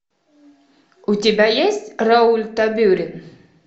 у тебя есть рауль табюрен